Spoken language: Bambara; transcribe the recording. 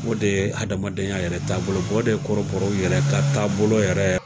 O de ye adamadenya yɛrɛ taabolo ye. o de ye kɔrɔbɔrɔw yɛrɛ ka taabolo yɛrɛ.